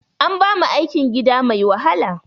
An bamu aikin gida mai wahala